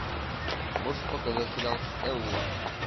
можешь показать сериал стелла